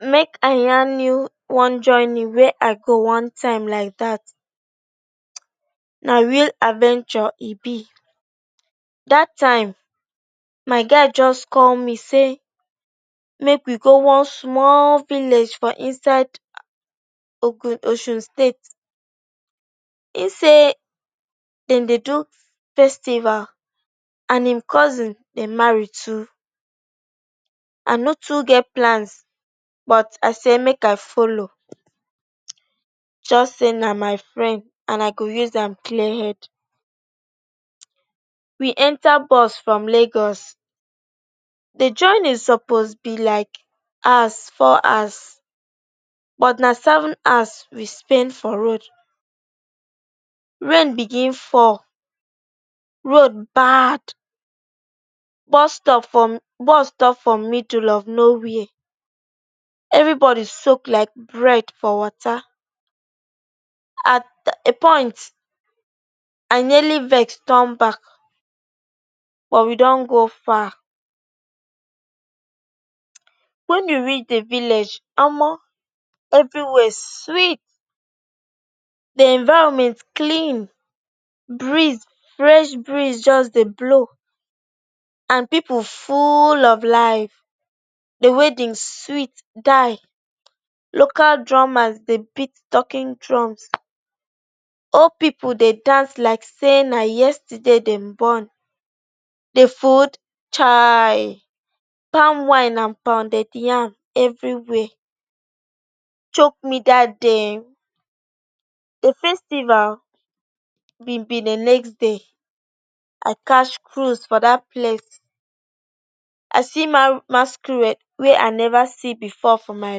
Make i yarn you one journey wey i go one time like dat. Na real adventure. E be like say dat time my guy just call me say make we go one small village for inside Osun State. Im say dem dey do festival and im cousin dey marry too. I no too get plans but i say make i follow, just say na my friend and i go use am clear head. We enta bus from Lagos. Di journey suppose be like four hours but na seven as we spend for road. Rain begin fall bad. Road baad. Bus stop from, bus stop from middle of nowhere. Evri body soak like bread for water. At a point i nearly vex turn back but we don go far. Wen we reach di village, omo evri wia sweet. Di environment clean. Breeze fresh. Fresh Breeze just dey blow and pipu full of life. Di wedding sweet die. Local drummers dey beat talking drums. Old pipu dey dance like say na yesterday dem born. Di food, chaaii! Palm wine and pounded yam evri wia, chock me that day eehn. Di festival been be di next day. I catch cruise for dat place. I see masquerade wey i never see bifor for my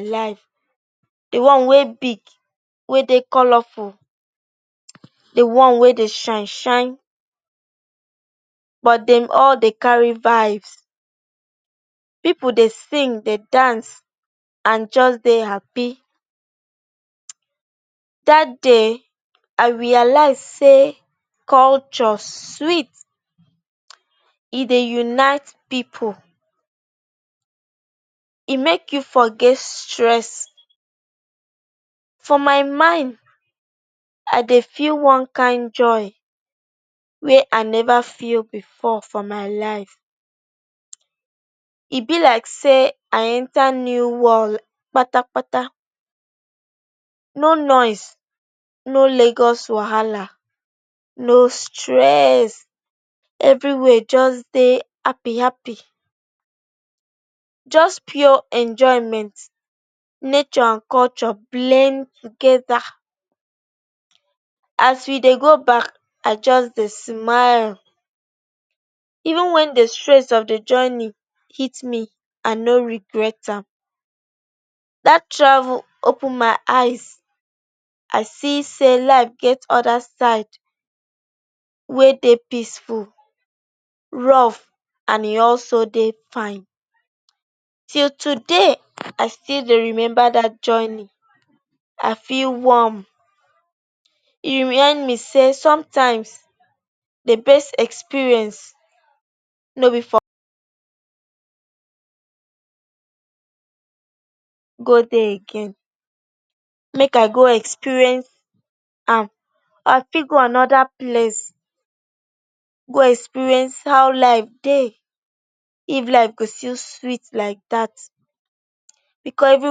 life. Di one wey big, wey dey colorful, di one wey dey shine shine. But dem all dey carry vibes. Pipu dey sing, dey dance and just dey happy. Third day i realise say culture sweet. E dey unite pipu. E make you forget stress. For my mind i dey feel one kain joy wey i never feel bifor for my life. E be like say i enta new world kpatapata. No noise, no Lagos wahala, no stress. Evri wia just dey happi happi. Just pure enjoyment. Nature and culture blend togeda As we dey go back, i just dey smile. Even wen di stress of di journey hit me, i no regret am. Dat travel open my eyes. I see say life get anoda side wey dey peaceful, rough and e also dey fine. Till today i still dey remember dat journey. I feel warm. E remind me say somtime di best experience no be for go dey again. Make i go experience am or i fit go anoda place go experience how life dey, if life go still sweet like dat. Bicos evri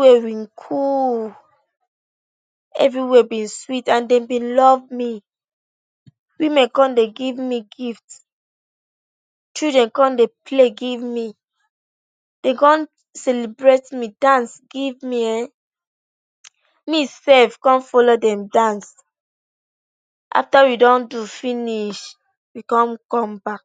wia been cool. Evri wia been sweet. And dem been love me. Women come dey give me gift. Children come dey play give me. Dem come celebrate me, dance give me. Ehn, me sef come follow dem dance. After we don do finish, we come come back.